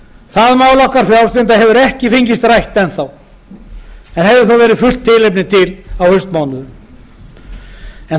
það mál okkar frjálslyndra hefur ekki enn fengist rætt en hefði þó verið fullt tilefni til á haustmánuðum nú